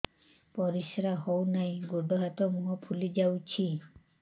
ପରିସ୍ରା ହଉ ନାହିଁ ଗୋଡ଼ ହାତ ମୁହଁ ଫୁଲି ଯାଉଛି